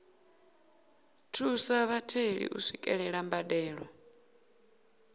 thusa vhatheli u swikelela mbadelo